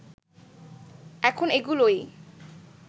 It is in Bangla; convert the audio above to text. এখন এগুলোই